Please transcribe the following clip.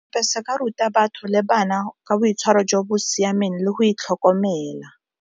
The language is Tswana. ka ruta batho le bana ka boitshwaro jo bo siameng le go itlhokomela